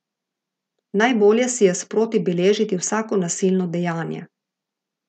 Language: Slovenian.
Najbolje si je sproti beležiti vsako nasilno dejanje.